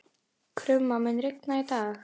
Krumma, mun rigna í dag?